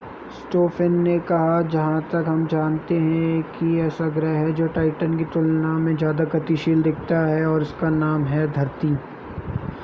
Stoffen ने कहा जहां तक हम जानते हैं एक ही ऐसा ग्रह है जो टाइटन की तुलना में ज़्यादा गतिशीलता दिखाता है और उसका नाम है धरती